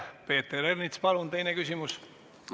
Peeter Ernits, palun teine küsimus!